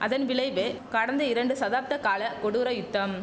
அதன் விளைவே கடந்த இரண்டு தசாப்த கால கொடூர யுத்தம்